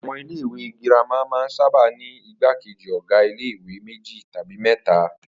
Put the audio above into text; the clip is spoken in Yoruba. Àwo̩n ilé ìwé girama máa ń saba ní ìgbákejì ò̩gá ilé ìwé méjì tàbí mé̩ta